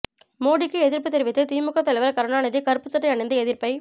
மோடிக்கு எதிர்ப்பு தெரிவித்து திமுக தலைவர் கருணாநிதி கருப்பு சட்டை அணிந்து எதிர்ப்பை